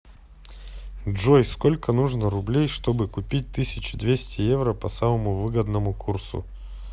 джой сколько нужно рублей чтобы купить тысячу двести евро по самому выгодному курсу